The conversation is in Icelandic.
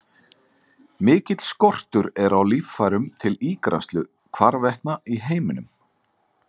Mikill skortur er á líffærum til ígræðslu hvarvetna í heiminum.